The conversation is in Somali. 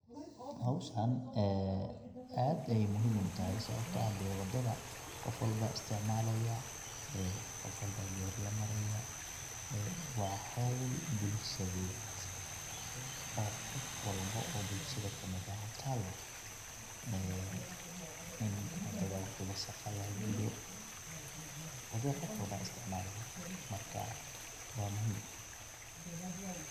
Xowshan ee, adh ayay muxiim utaxay, sawabto eh dee wadadhaa gofwalba aya isticmalaya, ee gofwalba gari lamaraya, ee wa xaul bulshadhet, oo gofwalba o bulshadha kamid axx utalo ee in wadadhaa wixi wasaq axx lagagudo wadadha gofwalba isticmalaya marka wa muxiim.